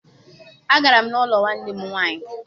Agara m n'ụlọ nwanne nne m nwaanyị.